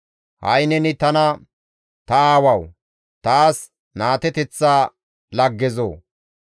Ha7i neni tana, ‹Ta aawawu, taas naateteththa laggezoo!